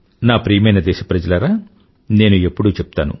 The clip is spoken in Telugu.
నా ప్రియమైన దేశప్రజలారా నేను ఎప్పుడూ చెప్తాను